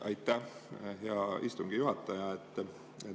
Aitäh, hea istungi juhataja!